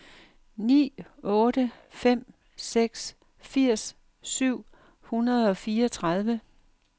ni otte fem seks firs syv hundrede og fireogtredive